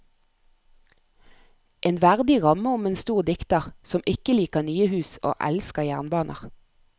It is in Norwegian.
En verdig ramme om en stor dikter, som ikke liker nye hus og elsker jernbaner.